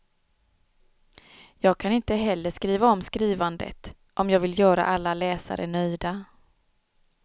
Jag kan inte heller skriva om skrivandet, om jag vill göra alla läsare nöjda.